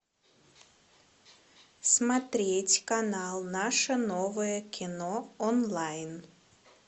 смотреть канал наше новое кино онлайн